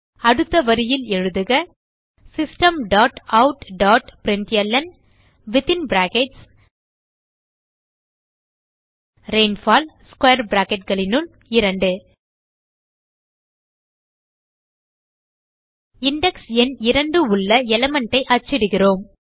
அடுத்த வரியில் எழுதுக system dot out dot println rainfall square bracketகளினுள் 2 இண்டெக்ஸ் எண் 2 உள்ள எலிமெண்ட் ஐ அச்சிடுகிறோம்